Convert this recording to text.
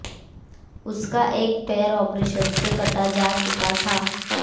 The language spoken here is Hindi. उसका एक पैर ऑपरेशन से काटा जा चुका था